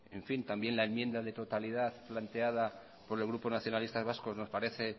también la enmienda de totalidad planteada por el grupo nacionalista vasco nos parece